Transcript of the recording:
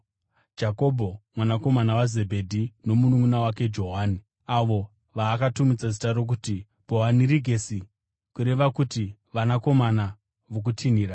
Jakobho mwanakomana waZebhedhi nomununʼuna wake Johani (avo vaakatumidza zita rokuti Bhoanerigesi, kureva kuti Vanakomana voKutinhira),